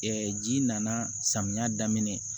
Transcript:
ji nana samiya daminɛ